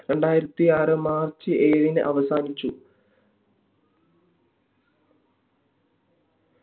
രണ്ടായിരത്തി ആറ് march ഏഴിന് അവസാനിച്ചു